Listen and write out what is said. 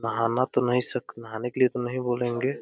नहाना तो नहीं सक नहाने के लिए तो नहीं बोलेंगे।